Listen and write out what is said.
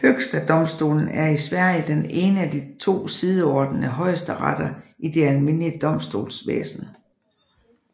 Högsta domstolen er i Sverige den ene af de to sideordnede højesteretter i det almindelige domstolsvæsen